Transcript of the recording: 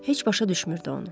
Heç başa düşmürdü onu.